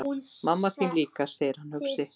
Mamma þín líka, segir hann hugsi.